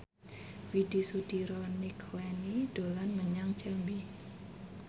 Widy Soediro Nichlany dolan menyang Jambi